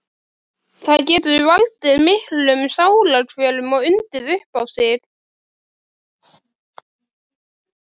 Það getur valdið miklum sálarkvölum og undið upp á sig.